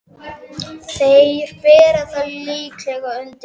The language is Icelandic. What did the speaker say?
Þeir bera það líklega undir þig.